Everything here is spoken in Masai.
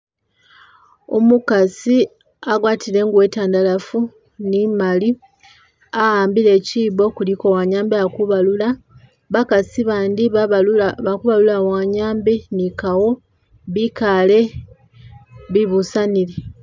Umukasi agwatile ingubo iitandalafu ne imali a'ambile chibo kuliko wanyiambi ali kubalula ,bakasi bandi balibalula wanyiambi ni kawa bikale bibusanile.